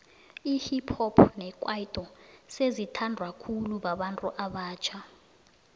ihip hop nekwaito sezi thandwa khulu babantu abatjha